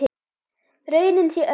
Raunin sé önnur.